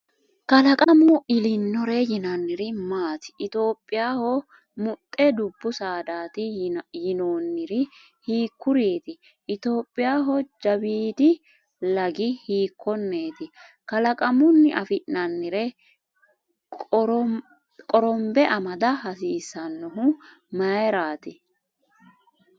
Kalaqamu elinore yinanniri maati? Itophiyaho muxxe dubbu saadaati yinoonniri hiikkuriiti? Itophiyaho jawiidi lagi hiikkonneeti? Kalaqamunni afi’nannire qorombe amada hasiissannohu mayraati?